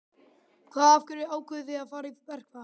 Hvaða, af hverju ákváðuð þið að fara í verkfall?